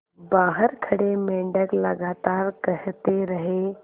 बाहर खड़े मेंढक लगातार कहते रहे